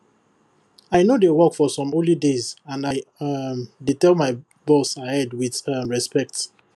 i no dey work for some holy days and i um dey tell my boss ahead with um respect